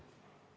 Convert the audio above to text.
Aitäh!